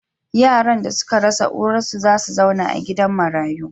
Yaran da suka rasa uwarsu za su zauna a gidan marayu.